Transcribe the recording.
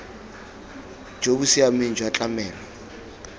jo bo siameng jwa tlamelo